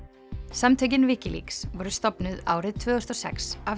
samtökin Wikileaks voru stofnuð árið tvö þúsund og sex af